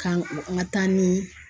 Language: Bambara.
K'an ka taa ni.